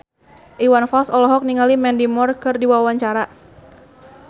Iwan Fals olohok ningali Mandy Moore keur diwawancara